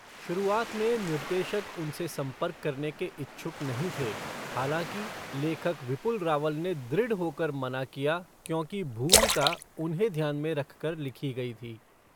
शुरुआत में निर्देशक उनसे संपर्क करने के इच्छुक नहीं थे, हालाँकि, लेखक विपुल रावल ने दृढ़ होकर मना किया क्योंकि भूमिका उन्हें ध्यान में रखकर लिखी गई थी।